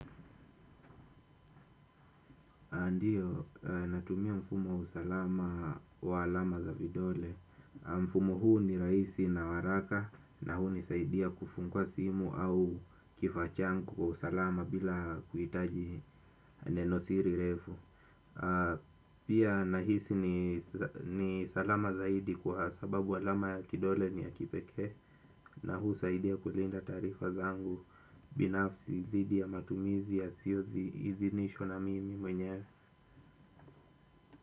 Ndiyo, natumia mfumo wa usalama wa alama za vidole. Mfumo huu ni rahisi na haraka na hunisaidia kufungua simu au kifaa changu kwa usalama bila kuhitaji nenosiri refu. Pia nahisi ni salama zaidi kwa sababu alama ya kidole ni ya kipekee na huu husaidia kulinda taarifa zangu binafsi dhidi ya matumizi yasiyo idhinishwa na mimi mwenyewe.